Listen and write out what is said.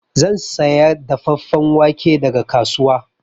Zan saya dafeffen wake daga kasuwa.